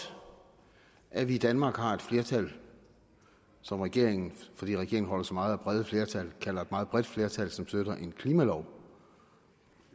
at vi i danmark har et flertal som regeringen fordi regeringen holder så meget af brede flertal kalder et meget bredt flertal som støtter en klimalov